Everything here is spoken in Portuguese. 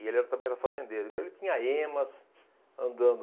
E ele era também era fazendeiro, então ele tinha emas, andando,